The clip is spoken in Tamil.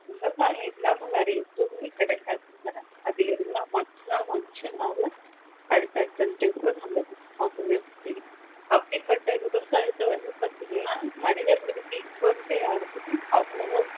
விவசாயம் இல்லாம வேற எதுவுமே கிடையாது அது இருந்தா மட்டும் தான் மனிசனால அடுத்தடுத்த step நம்ம போகவே முடியும் அப்படிப்பட்ட விவசாயத்த வந்து பாத்திங்கண்ணா மனிதர்களுக்கு இப்போ இருக்க யாருக்குமே அவ்வளோ